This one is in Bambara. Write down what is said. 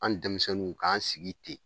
An denmisɛnninw k'an sigi ten